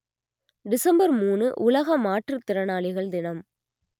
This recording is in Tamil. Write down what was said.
டிசம்பர் மூநு உலக மாற்றுதிறனாளிகள் தினம்